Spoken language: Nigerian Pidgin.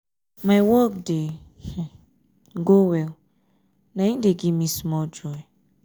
my work dey go well na im dey give me small joy.